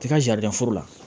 T'i ka jadɛdɛfo la